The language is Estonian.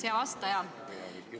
Hea vastaja!